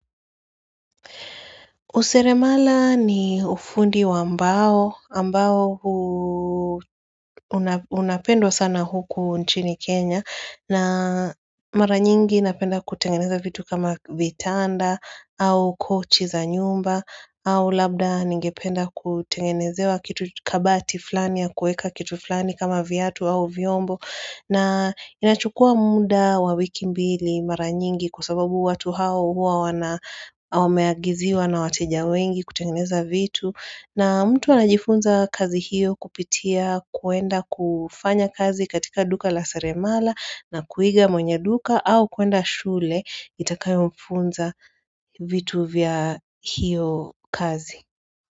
Useremala ni ufundi wa mbao, ambao hu unapendwa sana huku nchini Kenya na mara nyingi napenda kutengeneza vitu kama vitanda au kochi za nyumba au labda ningependa kutengenezewa kitu kabati fulani ya kueka kitu fulani kama viatu au vyombo. Na inachukua muda wa wiki mbili mara nyingi kwa sababu watu hao huwa wana wameagiziwa na wateja wengi kutengeneza vitu. Na mtu anajifunza kazi hiyo kupitia kuenda kufanya kazi katika duka la seremala na kuiga mwenye duka au kuenda shule itakayomfunza vitu vya hiyo kazi.